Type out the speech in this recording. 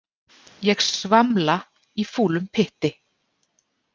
Ég svamla í fúlum pytti.